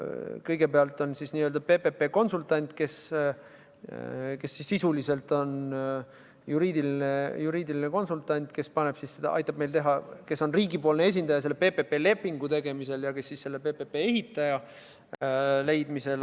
Kõigepealt on PPP konsultant – sisuliselt on ta juriidiline konsultant, kes on riigipoolne esindaja PPP lepingu tegemisel ja PPP ehitaja leidmisel.